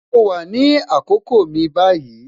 Mo wà ní àkókò mi báyìí